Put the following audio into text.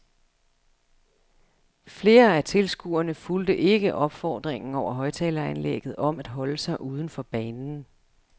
Flere af tilskuerne fulgte ikke opfordringen over højttaleranlægget om at holde sig uden for banen.